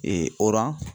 oran